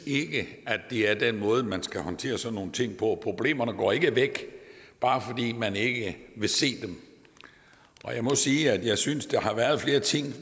at det er den måde man skal håndtere sådan nogle ting på problemerne går ikke væk bare fordi man ikke vil se dem og jeg må sige at jeg synes at der har været flere ting